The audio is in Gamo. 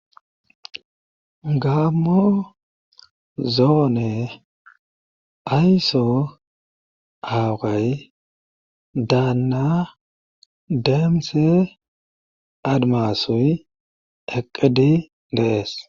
Gammo zoone ayso awaqay daanna deemse admasoy eqqedi deees.